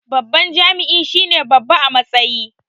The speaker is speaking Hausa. Babban jami'i shine babba a matsayi